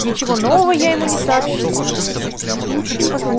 ничего нового я ему не сообщил